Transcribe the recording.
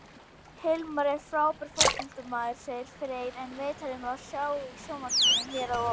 Hilmar er frábær fótboltamaður, sagði Freyr en viðtalið má sjá í sjónvarpinu hér að ofan.